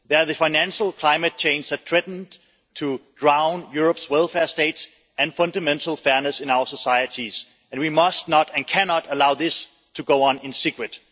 They are the financial climate change that threatens to drown Europe's welfare states and fundamental fairness in our societies, and we must not and cannot allow this to go on in secret.